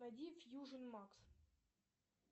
найди фьюжн макс